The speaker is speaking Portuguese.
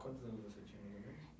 Quantos anos você tinha mais ou menos?